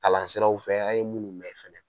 Kalan siraw fɛ an ye munnu mɛn fɛnɛ.